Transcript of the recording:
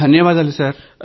ధన్యవాదాలు సార్